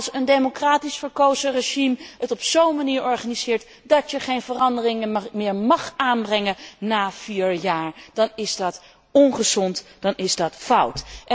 Maar als een democratisch verkozen regime het op zo'n manier organiseert dat je geen veranderingen meer mag aanbrengen na vier jaar, is dat ongezond en fout.